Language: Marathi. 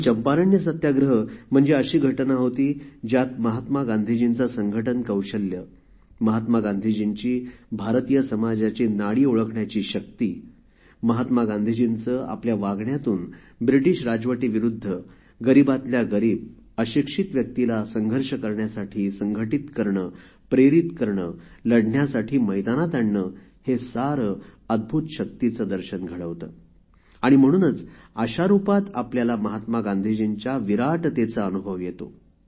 चंपारण्य सत्याग्रह म्हणजे अशी घटना होती ज्यात महात्मा गांधीजींचे संघटन कौशल्य महात्मा गांधीजींची भारतीय समाजाची नाडी ओळखण्याची शक्ती महात्मा गांधीजींचे आपल्या वागण्यातून ब्रिटीश राजवटीविरुद्ध गरीबातल्या गरीब अशिक्षित व्यक्तीला संघर्ष करण्यासाठी संघटित करणे प्रेरित करणे लढण्यासाठी मैदानात आणणे हे सारे अद्भुत शक्तीचे दर्शन घडवते आणि म्हणूनच अशा रुपात आपल्याला महात्मा गांधीजींच्या विराटतेचा अनुभव येतो